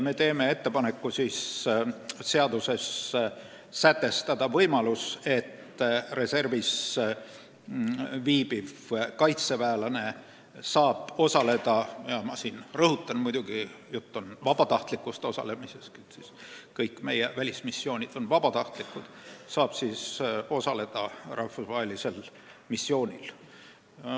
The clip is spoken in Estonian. Me teeme ettepaneku seaduses sätestada võimalus, et reservis viibiv kaitseväelane saab osaleda – siinkohal rõhutan, et jutt käib muidugi vabatahtlikust osalemisest, kõik meie välismissioonid on vabatahtlikud – rahvusvahelisel missioonil.